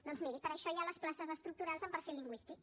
doncs miri per això hi ha les places estructurals amb perfil lingüístic